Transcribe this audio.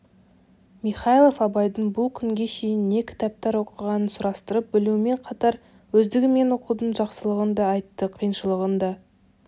михайлов абайдың бұл күнге шейін не кітаптар оқығанын сұрастырып білумен қатар өздігімен оқудың жақсылығын да айтты қиыншылығын да